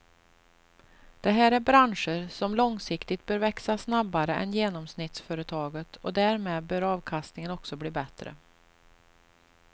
Det här är branscher som långsiktigt bör växa snabbare än genomsnittsföretaget och därmed bör avkastningen också bli bättre.